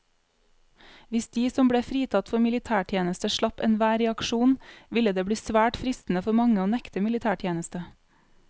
Hvis de som ble fritatt for militærtjeneste slapp enhver reaksjon, ville det bli svært fristende for mange å nekte militætjeneste.